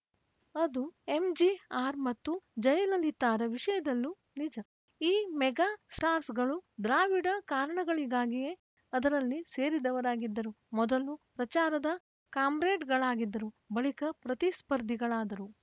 ಅದು ಎಂಜಿಆರ್‌ ಮತ್ತು ಜಯಲಲಿತಾರ ವಿಷಯದಲ್ಲೂ ನಿಜ ಈ ಮೆಗಾ ಸ್ಟಾರ್ಸ್ ರ್‌ಗಳು ದ್ರಾವಿಡ ಕಾರಣಗಳಿಗಾಗಿಯೇ ಅದರಲ್ಲಿ ಸೇರಿದವರಾಗಿದ್ದರು ಮೊದಲು ಪ್ರಚಾರದ ಕಾಮ್ರೇಡ್‌ಗಳಾಗಿದ್ದರು ಬಳಿಕ ಪ್ರತಿಸ್ಪರ್ಧಿಗಳಾದರು